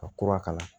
Ka kura k'a la